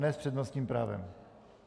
Ne s přednostním právem.